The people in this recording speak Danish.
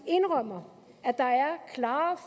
indrømmer at der er klare